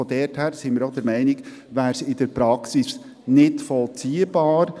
Daher sind wir auch der Meinung, dies sei in der Praxis nicht vollziehbar.